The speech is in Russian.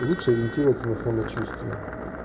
лучше ориентироваться на самочувствие